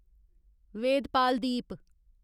वेद Pal दीप